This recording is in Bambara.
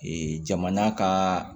jamana ka